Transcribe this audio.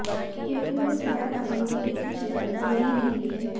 क्योंकि वो सिवाय राजनीति के कुछ जानते ही नहीं हैं